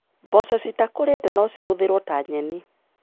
Mboco citakũrĩte nocihũthĩrwo ta nyeni.